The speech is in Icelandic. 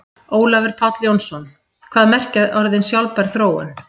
Ólafur Páll Jónsson: Hvað merkja orðin sjálfbær þróun?